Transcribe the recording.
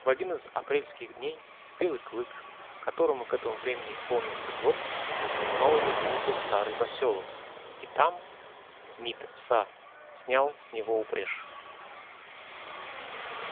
в один из апрельских дней белый клык которому к этому времени исполнился год снова вернулся в старый посёлок и там мит са снял с него упряжь